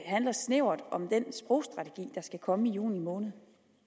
handler snævert om den sprogstrategi der skal komme i juni måned